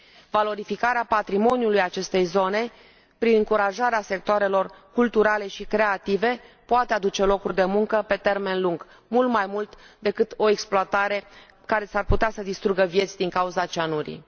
Valorificarea patrimoniului acestei zone, prin încurajarea sectoarelor culturale și creative, poate aduce locuri de muncă pe termen lung, mult mai mult decât o exploatare care s ar putea să distrugă vieți din cauza cianurii.